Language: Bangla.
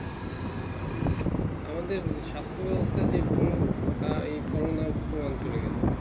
এই আমাদের সাস্থ বেবস্তা যে ভুল তা এ corona প্রমান করে গেলো